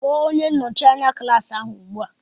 Kpọọ onye nnọchi anya klaasị ahụ ugbu a!